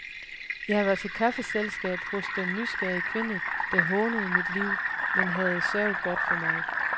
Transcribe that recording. Jeg var til kaffeselskab hos denne nysgerrige kvinde, der hånede mit liv, men havde sørget godt for mig.